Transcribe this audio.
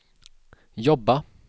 jobba